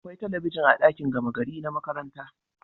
Akwai talabijin a dakin gama gari na makaranta